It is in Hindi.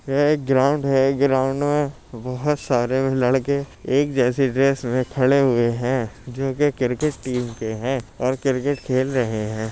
यह एक ग्राउंड है। ग्राउंड में बहुत सारे लड़के एक जैसी ड्रेस में खड़े हुए हैं जोके क्रिकेट टीम के हैं और क्रिकेट खेल रहे हैं।